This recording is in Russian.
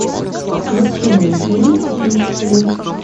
включи мне фильм пиксели